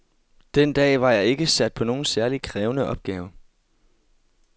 Den dag var jeg ikke sat på nogen særlig krævende opgave.